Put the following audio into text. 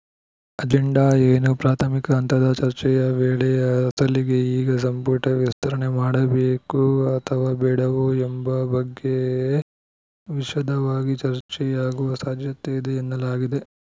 agenda ಏನು ಪ್ರಾಥಮಿಕ ಹಂತದ ಚರ್ಚೆಯ ವೇಳೆ ಅಸಲಿಗೆ ಈಗ ಸಂಪುಟ ವಿಸ್ತರಣೆ ಮಾಡಬೇಕೋ ಅಥವಾ ಬೇಡವೋ ಎಂಬ ಬಗ್ಗೆ ವಿಶದವಾಗಿ ಚರ್ಚೆಯಾಗುವ ಸಾಧ್ಯತೆಯಿದೆ ಎನ್ನಲಾಗಿದೆ